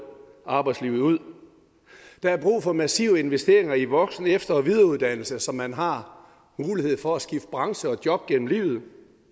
arbejdslivet ud der er brug for massive investeringer i voksen efter og videreuddannelse så man har mulighed for at skifte branche og job gennem livet